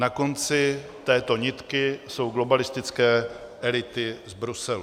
Na konci této nitky jsou globalistické elity z Bruselu.